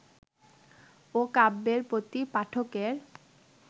ও কাব্যের প্রতি পাঠকের